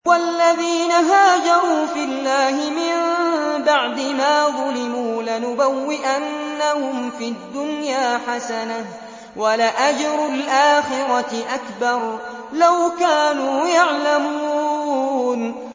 وَالَّذِينَ هَاجَرُوا فِي اللَّهِ مِن بَعْدِ مَا ظُلِمُوا لَنُبَوِّئَنَّهُمْ فِي الدُّنْيَا حَسَنَةً ۖ وَلَأَجْرُ الْآخِرَةِ أَكْبَرُ ۚ لَوْ كَانُوا يَعْلَمُونَ